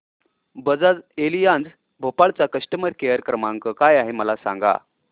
Bajaj Allianz Bhopal चा customer care क्रमांक काय आहे मला सांगा